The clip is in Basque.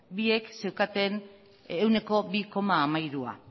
biek zeukaten ehuneko bi koma hamairua